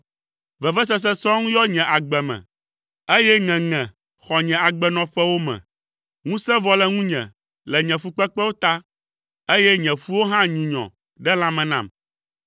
Vevesese sɔŋ yɔ nye agbe me, eye ŋeŋe xɔ nye agbenɔƒewo me. Ŋusẽ vɔ le ŋunye le nye fukpekpewo ta, eye nye ƒuwo hã nyunyɔ ɖe lãme nam.